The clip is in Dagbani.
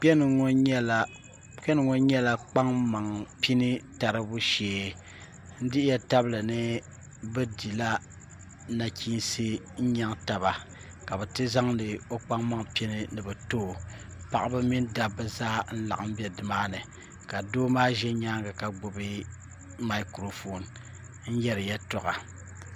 Kpɛŋŋo nyɛla kpaŋmaŋ pini taribu shee n dihiya tabili ni bi dila nachiinsi n nyɛŋ taba ka bi ti zaŋdi o kpaŋ maŋ pini ni bi too paɣaba mini dabba zaa n laɣam ʒɛ nimaani ka doo maa ʒɛ nyaangi ka gbubi maikiro foon n yɛri yɛltɔɣa